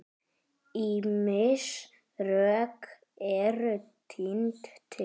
Ýmis rök eru tínd til.